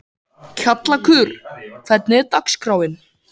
Kjallakur, hvernig er dagskráin?